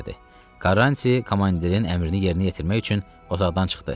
Karranti komandirin əmrini yerinə yetirmək üçün otaqdan çıxdı.